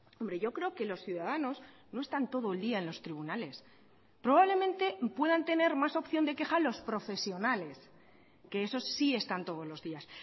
hombre yo creo que los ciudadanos no están todo el día en los tribunales probablemente puedan tener más opción de queja los profesionales que esos sí están todos los días